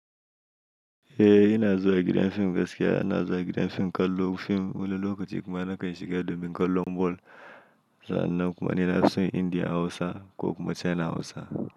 Eh ina zuwa gidan fim gaskiya, ina zuwa gidan fim kallon fim wani lokaci kuma ina kai shiga domin kallon ball zan nan kuma ina lasin Indiya Hausa ko kuma China Hausa.